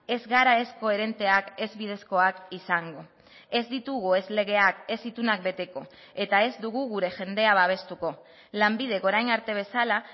ez gara ez koherenteak ez bidezkoak izango ez ditugu ez legeak ez itunak beteko eta ez dugu gure jendea babestuko lanbidek orain arte bezala